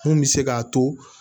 Mun bɛ se k'a to